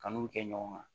Kanu kɛ ɲɔgɔn kan